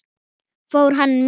Fór hann með?